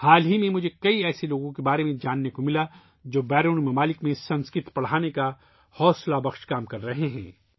حال ہی میں ، مجھے ایسے بہت سے لوگوں کے بارے میں معلوم ہوا ، جو بیرون ملک سنسکرت پڑھانے کا تحریکی کام کر رہے ہیں